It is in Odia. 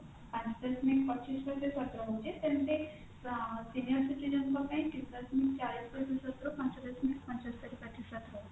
ପାଞ୍ଚ ଦଶମିକ ପଚିଶ ପ୍ରତିଶତ ରହୁଛି ସେମତି ଆଁ senior citizen ଙ୍କ ପାଇଁ ତିନି ଦଶମିକ ଚାଳିଶ ପ୍ରତିଶତ ରୁ ପାଞ୍ଚ ଦଶମିକ ପଞ୍ଚସ୍ତରି ପ୍ରତିଶତ ରହୁଛି